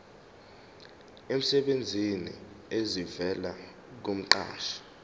emsebenzini esivela kumqashi